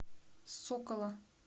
сокола